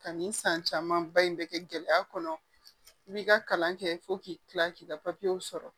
Ka nin san caman ba in bɛ kɛ gɛlɛya kɔnɔ i b'i ka kalan kɛ fo k'i kila k'i ka sɔrɔ